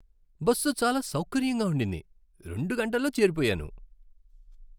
Bus చాలా సౌకర్యంగా ఉండింది, రెండు గంటల్లో చేరిపోయాను.